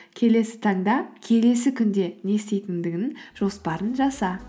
келесі таңда келесі күнде не істейтіндігінің жоспарын жаса